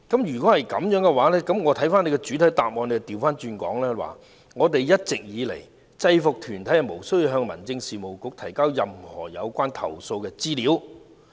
然而，我看到你的主體答覆則反過來說："一直以來，制服團體無需向民政事務局提交任何有關投訴的資料。